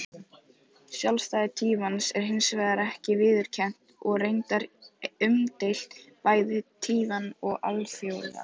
Sjálfstæði Taívans er hins vegar ekki viðurkennt og reyndar umdeilt, bæði á Taívan og alþjóðlega.